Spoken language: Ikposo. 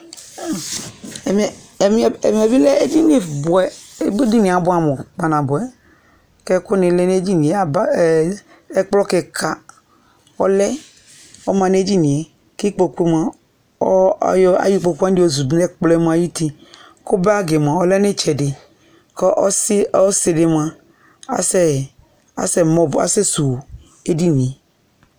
Ɛmɛ bɩ lɛ ednɩ bʋɛ Edɩnɩe abʋamʋ kpanabʋɛ kɛkʋ nɩ lɛ nedɩnɩ yɛ Ɛkplɔ kɩka ɔlɛ ɔma ne dɩnɩe kɩkpokʋ mʋa ayɔ ɩkpokʋwa yozʋdʋ nɛkplɔ ayʋ ʋtɩ kʋ bagɩ mʋa ɔlɛ nɩtsɛdɩ kʋ ɔsɩ dɩ mʋa asɛ sʋwʋ edɩnɩe